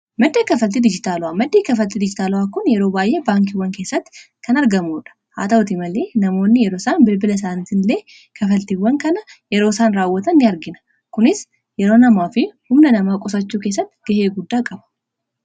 maddi kaffaltii dijitaala maddi kafaltii dijitaala kun yeroo baay'ee baankiiwwan keessatti kan argamuudha haa ta'utii malee namoonni yeroo isaan bilbila isaaniitiinillee kafaltiiwwan kana yeroo isaan raawwata in argina kunis yeroo namaa fi humna namaa qusachuu kessatti gahee guddaa qaba